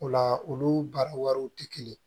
O la olu baara wariw tɛ kelen ye